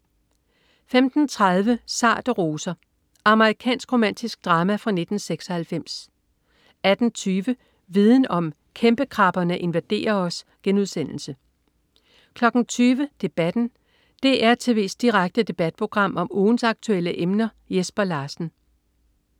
15.30 Sarte roser. Amerikansk romantisk drama fra 1996 18.20 Viden om: Kæmpekrabberne invaderer os* 20.00 Debatten. DR tv's direkte debatprogram om ugens aktuelle emner. Jesper Larsen